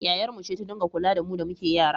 Yayarmu ce ta dinga kula da mu da muke yara